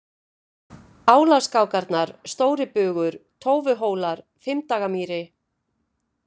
Álaskákarnar, Stóribugur, Tófuhólar, Fimmdagamýri